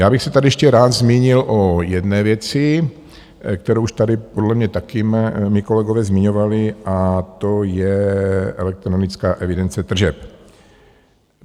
Já bych se tady ještě rád zmínil o jedné věci, kterou už tady podle mě taky mí kolegové zmiňovali, a to je elektronická evidence tržeb.